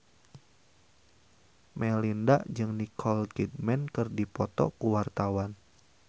Melinda jeung Nicole Kidman keur dipoto ku wartawan